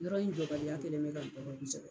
Yɔrɔ in jɔbaliya kɛlen don ka